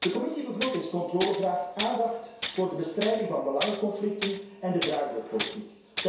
De Commissie begrotingscontrole vraagt aandacht voor de bestrijding van belangenconflicten en de draaideurpolitiek.